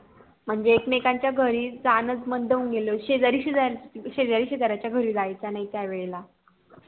म्हणजे एक मेकांन च्या घरी जाण च बंद होऊन गेलं होत शेजारी शेजारी शेजाच्या घरी जायच नाही त्या वेळेला